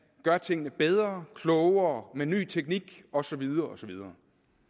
gør tingene bedre klogere med ny teknik og så videre og så videre